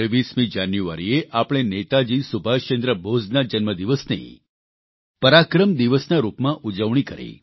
23 જાન્યુઆરીએ આપણે નેતાજી સુભાષચંદ્ર બોઝના જન્મદિવસની પરાક્રમ દિવસના રૂપમાં ઉજવણી કરી